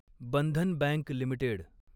Bandhan bank limited